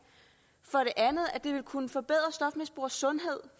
andet at det ville kunne forbedre stofmisbrugeres sundhed